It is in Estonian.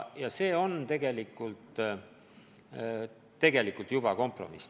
Ja see on tegelikult juba kompromiss.